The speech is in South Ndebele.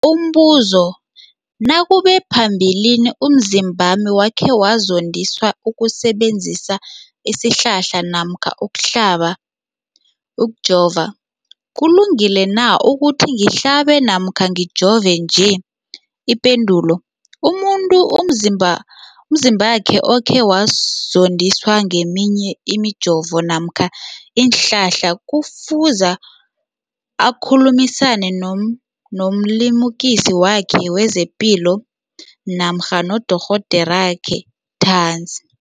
Umbuzo, nakube phambilini umzimbami wakhe wazondiswa kusebenzisa isihlahla namkha ukuhlaba, ukujova, kulungile na ukuthi ngihlabe namkha ngijove nje? Ipendulo, umuntu umzimbakhe okhe wazondiswa ngeminye imijovo namkha iinhlahla kufuze akhulumisane nomlimukisi wakhe wezepilo namkha nodorhoderakhe ntanzi.